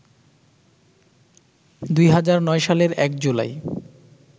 ২০০৯ সালের ১ জুলাই